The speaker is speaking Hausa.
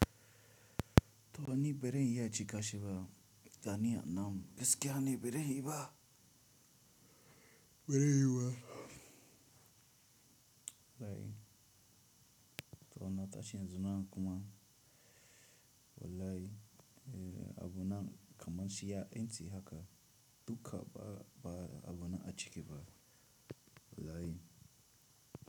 To wani barai iya cika shi ba, ga niya namu gaskiya ne bare yiyu ba? Bare yiyu ba? Lai, to na tashi yanzu na kuma wallahi, abu na kamar shi ya intsi haka, duka ba, ba abu na a cike ba. Wallahi.